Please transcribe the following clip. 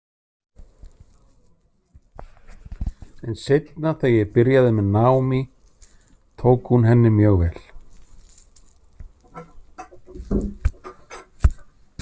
En seinna þegar ég byrjaði með Naomi tók hún henni mjög vel.